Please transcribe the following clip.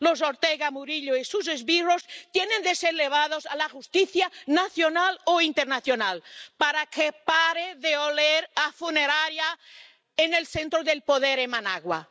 Los Ortega Murillo y sus esbirros tienen que ser llevados ante la justicia nacional o internacional para que pare de oler a funeraria en el centro del poder en Managua.